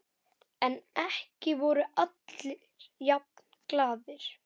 En ekki voru allir jafn glaðir.